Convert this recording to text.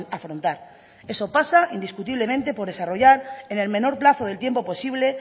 afrontar eso pasa indiscutiblemente por desarrollar en el menor plazo del tiempo posible